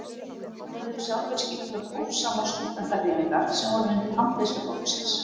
Þeir höfðu sjálfir skipulagt hófsamar stúdentahreyfingar sem voru undir handleiðslu flokksins.